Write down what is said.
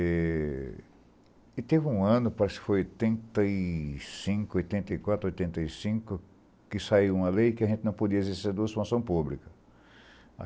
E teve um ano, parece que foi em oitenta e cinco, oitenta e quatro, oitenta e cinco, que saiu uma lei que a gente não podia exercer duas funções pública.